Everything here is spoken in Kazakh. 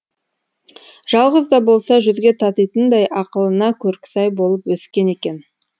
жалғыз да болса жүзге татитындай ақылына көркі сай болып өскен екен